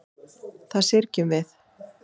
Það syrgjum við.